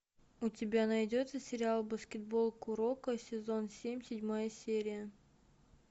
у тебя найдется сериал баскетбол куроко сезон семь седьмая серия